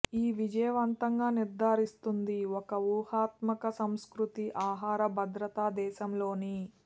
ఈ విజయవంతంగా నిర్ధారిస్తుంది ఒక వ్యూహాత్మక సంస్కృతి ఆహార భద్రతా దేశంలోని